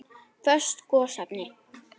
Föst gosefni